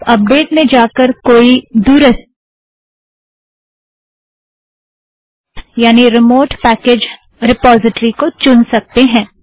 आप अपडेट मैं जाकर कोई दुरस्त यानि रिमोट पैकेज़ रिपोज़िट्रि को चुन सकते हो